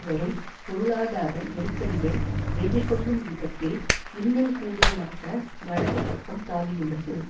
வரும் பொருளாதார நெருக்கடியை எதிர்கொள்ளும் விதத்தில் இன்னும் கூடுதலாக வலதுபக்கம் தாவியுள்ளது